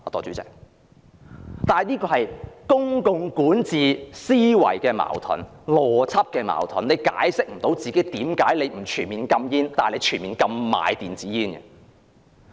這是公共管治思維邏輯的矛盾，她無法解釋為何不全面禁煙，但卻全面禁售電子煙。